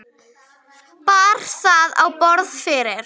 Bar það á borð fyrir